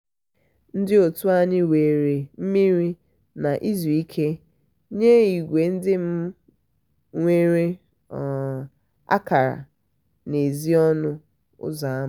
ndị otu anyị were mmiri na izu ike nye ìgwè ndị nwere um akara n'èzí ọnụ ụzọ ámá.